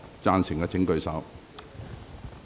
贊成的請舉手。